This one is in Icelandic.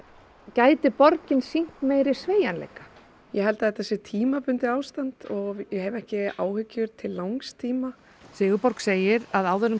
gæti borgin sýnt meiri sveigjanleika ég held að þetta sé tímabundið ástand og ég hef ekki áhyggjur til langs tíma Sigurborg segir að áður en